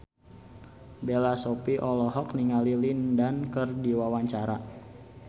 Bella Shofie olohok ningali Lin Dan keur diwawancara